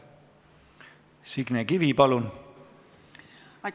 Signe Kivi, palun!